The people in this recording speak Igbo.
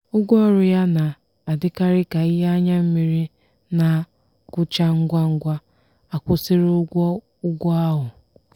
ụgwọọrụ ya na-adịkarị ka ihe anya mmiri na-agwụcha ngwa ngwa akwụsiri ụgwọ ụgwọ ahụ.